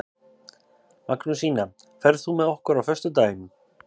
Magnúsína, ferð þú með okkur á föstudaginn?